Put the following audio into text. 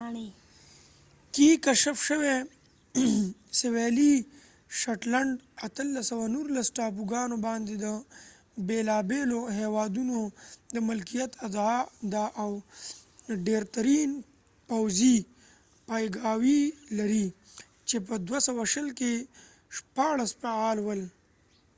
1819 کې کشف شوې سوېلي شټلنډ ټاپوګانو باندې د بېلابېلو هېوادونو د ملکیت ادعا ده او ډېرترین پوځي پایګاوې لري چې په 2020 کې شپاړس فعال ول